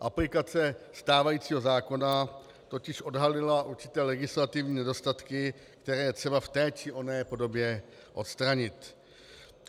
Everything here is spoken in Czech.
Aplikace stávajícího zákona totiž odhalila určité legislativní nedostatky, které je třeba v té či oné podobě odstranit.